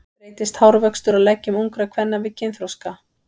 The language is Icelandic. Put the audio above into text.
Breytist hárvöxtur á leggjum ungra kvenna við kynþroska?